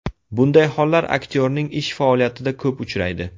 Bunday hollar aktyorning ish faoliyatida ko‘p uchraydi.